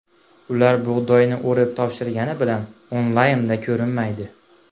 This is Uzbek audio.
Ular bug‘doyni o‘rib, topshirgani bilan onlaynda ko‘rinmaydi.